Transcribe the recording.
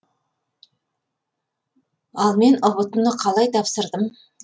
ал мен ұбт ны қалай тапсырдым